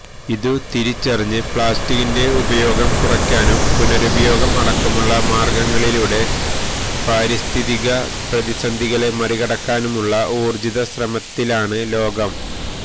ഇതു തിരിച്ചറിഞ്ഞ് പ്ലാസ്റ്റിക്കിന്റെ ഉപയോഗം കുറയ്ക്കാനും പുനരുപയോഗം അടക്കമുള്ള മാര്ഗങ്ങളിലൂടെ പാരിസ്ഥിതിക പ്രതിസന്ധികളെ മറികടക്കാനുമുള്ള ഊര്ജിത ശ്രമത്തിലാണിന്ന് ലോകം